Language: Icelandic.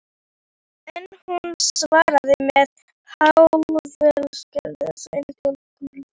En hún svaraði með háðslegri þögn og kulda.